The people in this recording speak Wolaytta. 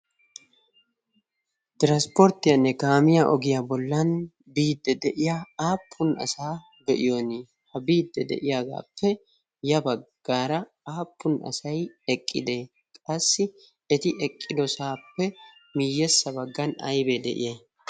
tiranspporttiyaanne kaamiya ogiyaa bollan biidde de'iya aappun asaa be'iyon ha biidde de'iyaagaappe ya baggaara aappun asai eqqidee qassi eti eqqidosaappe miiyyessa baggan aibee de'iya